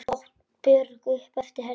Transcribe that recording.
át Björg upp eftir henni.